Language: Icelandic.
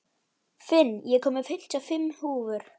Finn, ég kom með fimmtíu og fimm húfur!